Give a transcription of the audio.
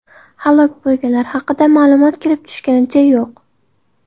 Halok bo‘lganlar haqida ma’lumot kelib tushganicha yo‘q.